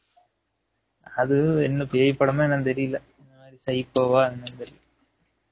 அது என்ன பேய் படம் ஆ என்னனு தெறியல psyco ஆ என்னனு தெறியல